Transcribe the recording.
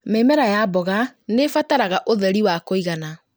Mĩmera ya mboga nĩĩbataraga ũtheri wa kũigana